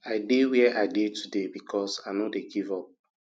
i dey where i dey today because i no give up